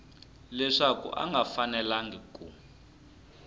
leswaku a nga fanelangi ku